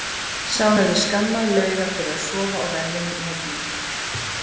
Sá hefði skammað Lauga fyrir að sofa á verðinum í horninu!